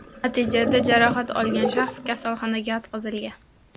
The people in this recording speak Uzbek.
Natijada jarohat olgan shaxs kasalxonaga yotqizilgan.